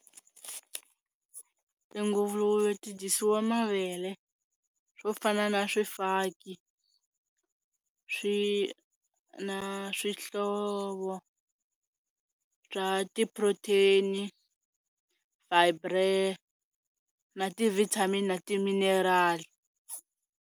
Tinguluve ti dyisiwa mavele, swo fana na swifaki swi na swihlovo swa ti-protein, na ti-vitamin na ti-mineral.